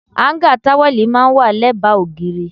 Áńgá táwẹ́lì máa ń wà lẹ́bàá ògiri.